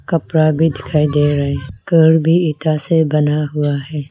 कपड़ा भी दिखाई दे रहे हैं घर भी इटा से बना हुआ है।